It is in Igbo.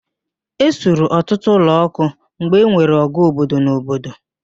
Ẹ suru ọtụtụ ụlọ ọkụ mgbe enwere ọgụ obodo na obodo